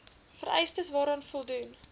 vereistes waaraan voldoen